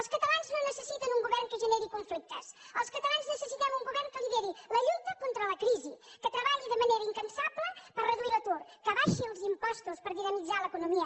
els catalans no necessiten un govern que generi conflictes els catalans necessitem un govern que lideri la lluita contra la crisi que treballi de manera incansable per reduir l’atur que abaixi els impostos per dinamitzar l’economia